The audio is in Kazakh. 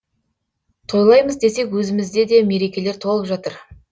тойлаймыз десек өзімізде де мерекелер толып жатыр